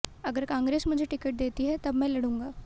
अगर कांग्रेस मुझे टिकट देती है तब मैं लड़ूंगा